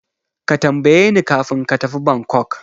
Ka tambayeni kafin ka tafi Bangkok.